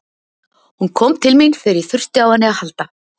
Hún kom til mín þegar ég þurfti á henni að halda.